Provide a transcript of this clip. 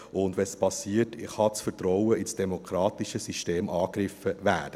Und wenn es passiert, kann das Vertrauen in das demokratische System angegriffen werden.